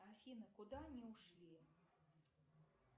афина куда они ушли